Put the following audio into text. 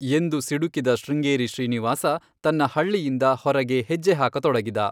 ಎಂದು ಸಿಡುಕಿದ ಶೃಂಗೇರಿ ಶ್ರೀನಿವಾಸ ತನ್ನ ಹಳ್ಳಿಯಿಂದ ಹೊರಗೆ ಹೆಜ್ಜೆ ಹಾಕತೊಡಗಿದ.